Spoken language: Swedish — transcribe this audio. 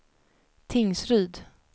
Tingsryd